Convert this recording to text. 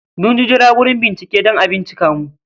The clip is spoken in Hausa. Mun jira wurin bincike, dan a bincika mu